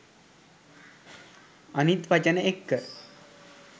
අනිත් වචන එක්ක